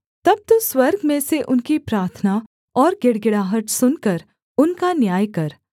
तब तू स्वर्ग में से उनकी प्रार्थना और गिड़गिड़ाहट सुनकर उनका न्याय